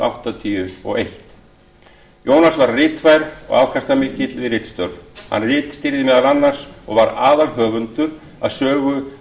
áttatíu og eitt jónas var ritfær og afkastamikill við ritstörf hann ritstýrði meðal annars og var aðalhöfundur að sögu